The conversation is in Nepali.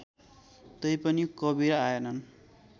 तैपनि कवीर आएनन्